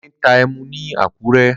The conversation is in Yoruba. Délé ń ta ẹmu ni Àkúrẹ́.